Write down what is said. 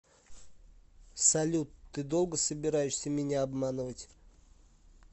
салют ты долго собираешься меня обманывать